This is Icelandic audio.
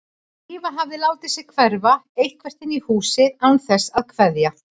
Drífa hafði látið sig hverfa eitthvert inn í húsið án þess að kveðja.